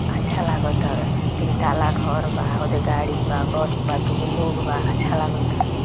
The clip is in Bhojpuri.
अच्छा लागत बा तीन तल्ला घर बा गाड़ी बा बस बा दू गो लोग बा अच्छा लगता।